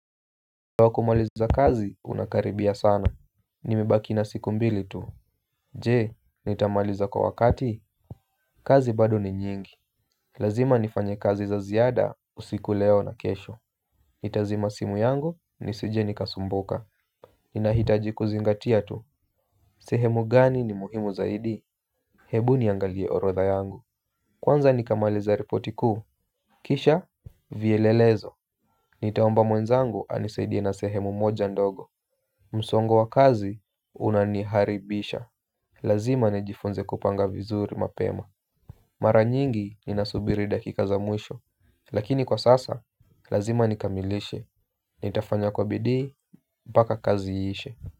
Wakumaliza kazi unakaribia sana. Nimebaki na siku mbili tu. Je nitamaliza kwa wakati. Kazi bado ni nyingi. Lazima nifanye kazi za ziada usiku leo na kesho. Nitazima simu yangu nisije nikasumbuka. Ninahitaji kuzingatia tu. Sehemu gani ni muhimu zaidi. Hebu niangalie orotha yangu. Kwanza nikamaliza ripoti kuu Kisha Vielelezo Nitaomba mwenzangu anisaidie na sehemu moja ndogo. Msongo wa kazi unaniharibisha. Lazima nijifunze kupanga vizuri mapema. Mara nyingi ni nasubiri dakika za mwisho. Lakini kwa sasa, lazima nikamilishe. Nitafanya kwa bidii, mpaka kazi iishe.